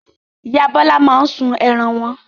Ìyá Bọ́lá máa ń sun ẹran wọn.